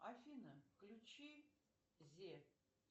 афина включи зе